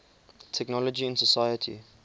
technology in society